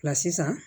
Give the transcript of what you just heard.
sisan